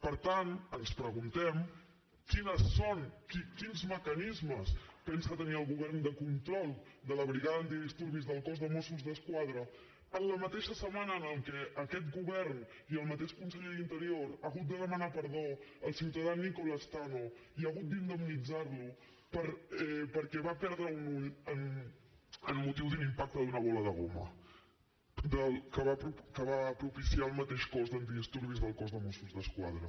per tant ens preguntem quins mecanismes pensa tenir el govern de control de la brigada antidisturbis del cos de mossos d’esquadra en la mateixa setmana en què aquest govern i el mateix conseller d’interior han hagut de demanar perdó al ciutadà nicola tanno i ha hagut d’indemnitzar lo perquè va perdre un ull amb motiu de l’impacte d’una bola de goma que va propiciar el mateix cos d’antidisturbis del cos de mossos d’esquadra